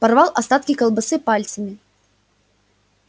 порвал остатки колбасы пальцами